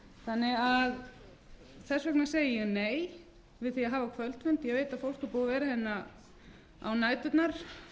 almennilega unnin þess vegna segi ég nei við því að hafa kvöldfund ég veit að fólk er búið að vera hérna á næturnar